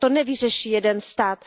To nevyřeší jeden stát.